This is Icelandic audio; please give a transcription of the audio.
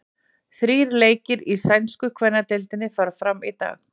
Þrír leikir í sænsku kvennadeildinni fara fram í dag.